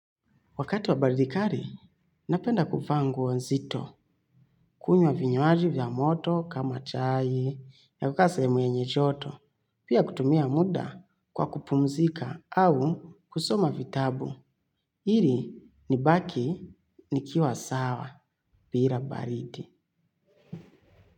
Wakati wa baridi kari, napenda kufaa nguo nzito, kunywa vinywaji vya moto, kama chai, ya kukasa mwenye joto, pia kutumia muda kwa kupumzika au kusoma vitabu, hili ni baki ni kiwa sawa, pira baridi.